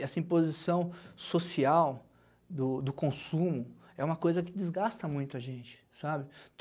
Essa imposição social do consumo é uma coisa que desgasta muito a gente, sabe?